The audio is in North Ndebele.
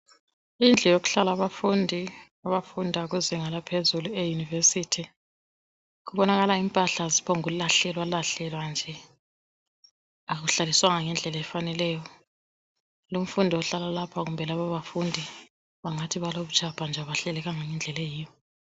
indlu yokuhlala abafundi abafunda kuzinga laphezulu e university kubonakala impahla ziphombuku lahlelwa lahlelwa akuhlaliswanga ngendlela efaneleyo lumfundi ohlala lapha kumbe lababafundi bangathi balobutshapha abahlelekanga ngendlela eyiyo